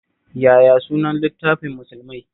Yaya sunan littafin Musulmai?